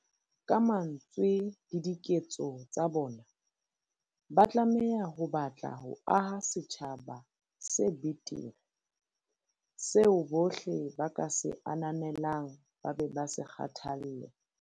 Ka mantswe le diketso tsa bona, ba tlameha ho batla ho aha setjhaba se betere, seo bohle ba ka se ananelang ba be ba se kgathalle.